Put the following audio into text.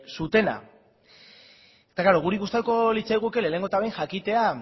zutena eta klaro guri gustatuko litzaiguke lehenengo eta behin jakitea